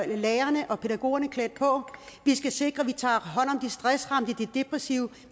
lærerne og pædagogerne klædt på vi skal sikre at vi tager hånd om de stressramte de degressive